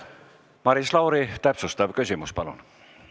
Maris Lauri, täpsustav küsimus, palun!